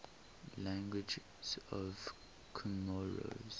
languages of comoros